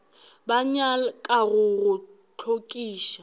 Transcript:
ba nyaka go go hlokiša